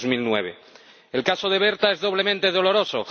2009. El caso de Berta es doblemente doloroso.